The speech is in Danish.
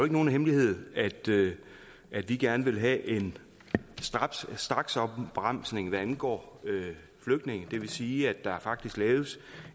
nogen hemmelighed at vi gerne vil have en straksopbremsning hvad angår flygtninge og det vil sige at der faktisk laves